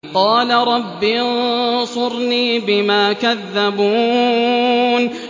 قَالَ رَبِّ انصُرْنِي بِمَا كَذَّبُونِ